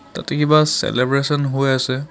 তাতে কিবা চেলেব্ৰেচন হৈ আছে.